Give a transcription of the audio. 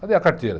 Cadê a carteira?